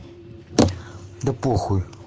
да похуй